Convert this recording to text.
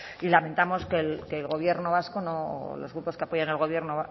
y lamentamos que el gobierno vasco o los grupos que apoyan al gobierno